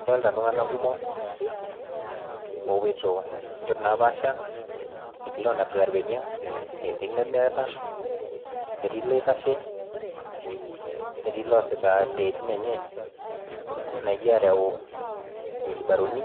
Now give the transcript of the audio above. Adolita iltung'anak kumok oopuoito inchot napaasha, etii lonapita ilbenia etii lemeeta netii loitashe, netii loasita siaitin enye naijo areu wilbaroni,